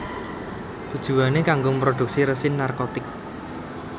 Tujuwané kanggo mrodhuksi résin narkotik